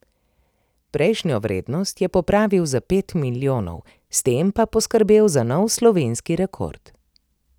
Prejšnjo vrednost je popravil za pet milijonov, s tem pa poskrbel za nov slovenski rekord.